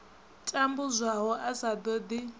tambudzwaho a sa ṱo ḓi